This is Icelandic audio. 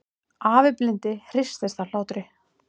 Afi blindi hristist af hlátri.